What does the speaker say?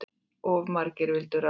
Of margir vildu ráða.